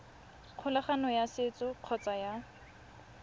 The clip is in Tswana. kgolagano ya setso kgotsa ya